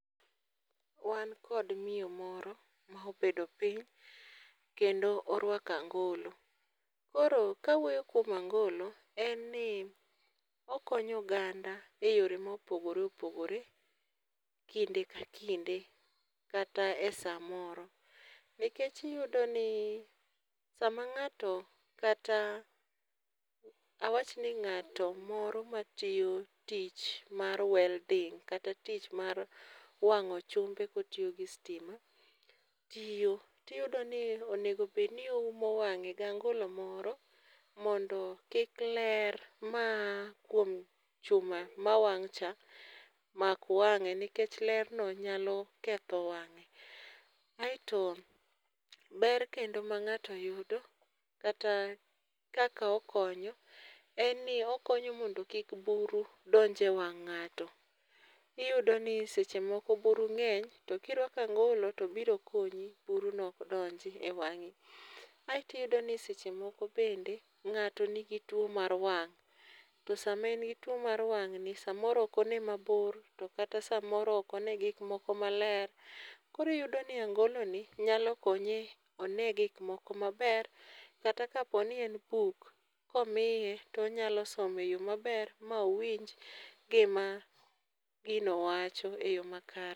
Wan kod miyo moro ma obedo piny to kendo orwako angolo. Koro ka awuoyo e angolo ,en ni okonyo oganda e yore ma opogore opogore kinde ka kinde ka e saa ma oro nikech iyudo ni saa ma ng'ato awach ni ngat moro ma tiyo tich mar welding kata tich mar wango chumbe ka otiyo gi stima, tiyo ti iyudo ni onego bed ni oumo wang'e gi angolo moro mondo kik ler maa kuom chuma kama wang cha omak wange nikech ler no nyalo ketho wange. Kaito ber kendo ma ng'ato yudo kata kaka okonyo en ni okonyo mondo kik buru donj e wang ngato. Iyudo ni seche moko buru ngeny to ki irwako angolo to biro konyi buru no ok donj e wangi. Aito iyudo ni seche moko bende ngato ni gi tuo mar wang' to saa ma en gi tuo mar wang' ni saa moro ok onee ma bor to kata saa moro ok one gik moko ma ler, koro iyudo ni angolo ni nyalo konye one gik moko ma ber kata ka po ni en buk ka omiye to onyalo simo e yo ma ber ma owinj gi ma gino wacho e yo makare.